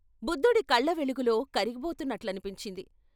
బుద్ధుడి కళ్ళవెలుగులో కరిగిపోతున్నట్లనిపించింది.